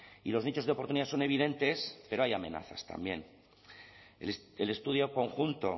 y los nichos de oportunidad son evidentes pero hay amenazas también el estudio conjunto